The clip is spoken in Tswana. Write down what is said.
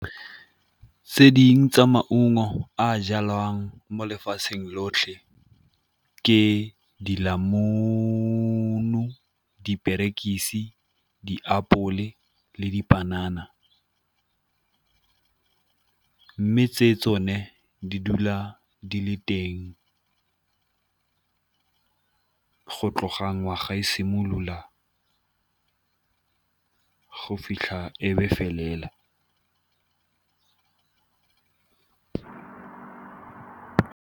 Tse dingwe tsa maungo a jalwang mo lefatsheng lotlhe ke , diperekisi, diapole le dipanana. Mme tse tsone di dula di le teng go tloga ngwaga e simolola go fitlha e be felela.